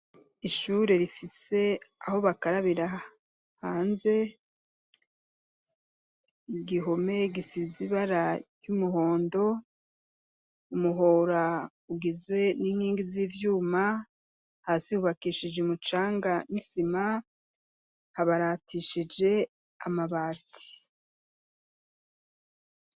Ishure, rifise aho bakarabira hanze, igihome, gisize ibara ry'umuhondo, umuhora, ugizwe n'inkingi z'ivyuma, hasi hubakishije umucanga n'isima, habaratishije amabati.